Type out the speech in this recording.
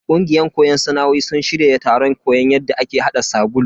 Kungiyan koyon sana'o'in sun shirya taron koyon yadda ake hada sabulu.